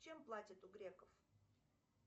чем платят у греков